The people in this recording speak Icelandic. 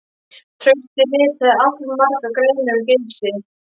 Trausti ritaði allmargar greinar um Geysi.